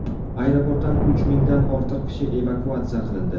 Aeroportdan uch mingdan ortiq kishi evakuatsiya qilindi.